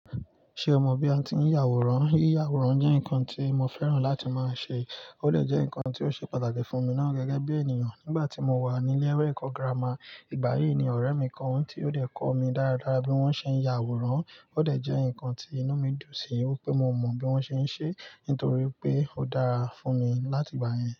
Ṣé o mọ bí a ti ń ya àwòrán? Yíyá àwòrán jẹ́ nǹkan tí mo fẹ́ràn láti máa ṣe. Ó de jẹ́ nǹkan tí ó ṣe pàtàkì fún mi ná gẹ́gẹ́ bí ènìyàn nígbà tí mo wà ni ilé ẹ̀kọ́ gírámà. Ìgbà yí ni ọ̀rẹ́ mi kan tí ó dẹ̀ kọ́ mi dáradára bí wọ́n ṣe ń ya àwòrán. Ó dẹ̀ jẹ́ nǹkan tí inú mi dùn sí. Ó pé mo mọ bí wọ́n ṣe ń ṣe é nítorí pé ó dára fún mi láti ìgbà yẹn.